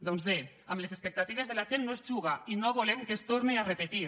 doncs bé amb les expectatives de la gent no s’hi juga i no volem que es torne a repetir